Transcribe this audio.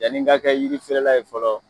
Yanni n ka kɛ yiri feere la ye fɔlɔ